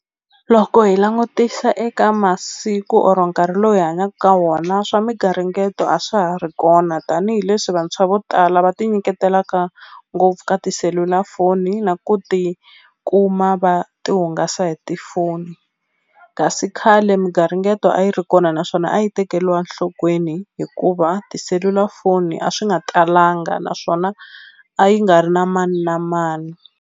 Loko hi langutisa eka masiku or nkarhi lowu hi hanyaku ka wona swa migaringeto a swa ha ri kona tanihileswi vantshwa vo tala va tinyiketelaka ngopfu ka tiselulafoni na ku ti kuma va ti hungasa hi tifoni kasi khale migaringeto a yi ri kona naswona a yi tekeliwa nhlokweni hikuva tiselulafoni a swi nga talanga naswona a yi nga ri na mani na mani.